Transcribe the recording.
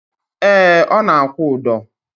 Ee, ọ na-akwụ ụdọ